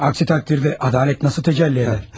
Əks təqdirdə ədalət necə təcəlli edər?